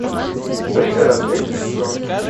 пригород третий сезон